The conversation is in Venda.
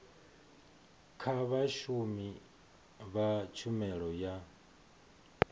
kha vhashumi vha tshumelo ya